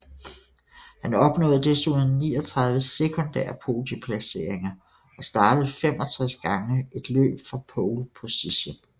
Han opnåede desuden 39 sekundære podieplaceringer og startede 65 gange et løb fra Pole Position